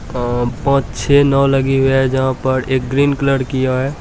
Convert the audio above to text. और पांच-छः नाव लगी हुई है यहाँ पर एक ग्रीन कलर किया है।